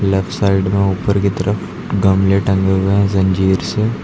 Left side में ऊपर की तरफ गमले टंगे हुए हैं जंजीर से।